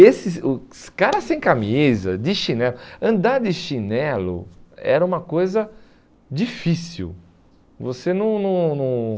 Esses o Os caras sem camisa, de chinelo, andar de chinelo era uma coisa difícil. Você não não não